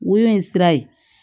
Wo ye sira ye